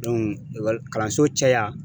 ekɔli kalanso caya